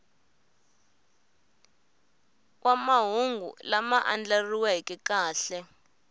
wa mahungu lama andlariweke kahle